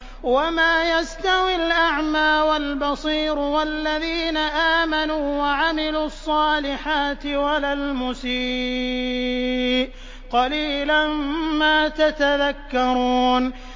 وَمَا يَسْتَوِي الْأَعْمَىٰ وَالْبَصِيرُ وَالَّذِينَ آمَنُوا وَعَمِلُوا الصَّالِحَاتِ وَلَا الْمُسِيءُ ۚ قَلِيلًا مَّا تَتَذَكَّرُونَ